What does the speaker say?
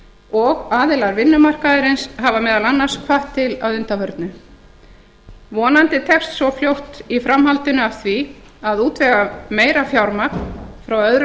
og aðilar vinnumarkaðarins hafa meðal annars hvatt til að undanförnu vonandi tekst svo fljótt í framhaldinu af því að útvega meira fjármagn frá öðrum